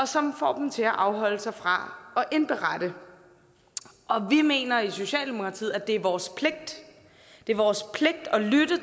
som får dem til at afholde sig fra at indberette vi mener i socialdemokratiet at det er vores pligt det er vores pligt at lytte